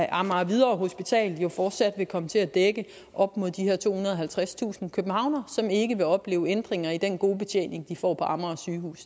amager hvidovre hospital fortsat vil komme til at dække op mod de her tohundrede og halvtredstusind københavnere som ikke vil opleve ændringer i den gode betjening de får på amager